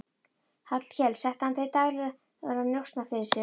Hallkel setti hann til daglegra njósna fyrir sig.